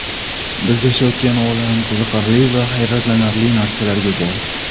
Biz yashayotgan olam qiziqarli va hayratlanarli narsalarga boy.